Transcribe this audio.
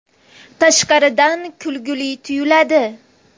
Tashqaridan kulgili tuyuladi.